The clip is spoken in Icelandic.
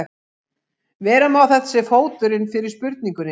Vera má að þetta sé fóturinn fyrir spurningunni.